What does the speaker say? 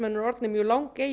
eru orðnir mjög